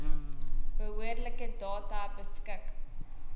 behoorlike data beskik